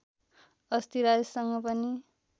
अस्ति राजेशसँग पनि